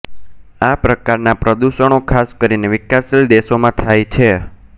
આ પ્રકારના પ્રદૂષણો ખાસ કરીને વિકાસશીલ દેશોમાં થાય છે